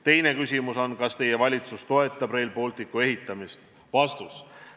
Teine küsimus on: kas teie valitsus toetab Rail Balticu ehitamist?